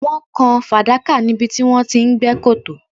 Wọ́n kan fàdákà níbi tí wọ́n ti ń gbẹ́ kòtò